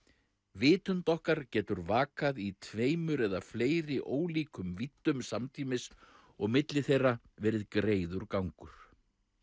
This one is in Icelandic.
vitund okkar getur vakað í tveimur eða fleiri ólíkum víddum samtímis og milli þeirra verið greiður gangur